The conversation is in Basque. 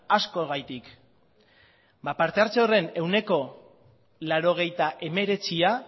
askogatik ba parte hartze horren ehuneko laurogeita hemeretzia